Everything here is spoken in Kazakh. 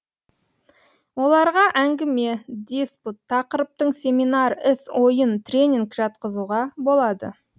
оларга әңгіме диспут тақырыптың семинар іс ойын тренинг жатқызуға болады